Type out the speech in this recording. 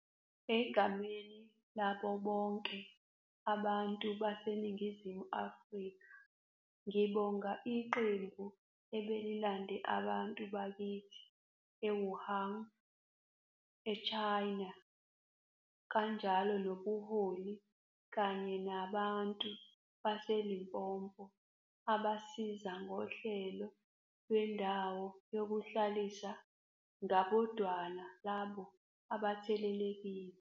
Egameni labo bonke abantu baseNingizimu Afrika ngibonga iqembu ebelilande abantu bakithi e-Wuhan, e-China, kanjalo nobuholi kanye nabantu baseLimpopo abasiza ngohlelo lendawo yokuhlalisa ngabodwana labo abathelelekile.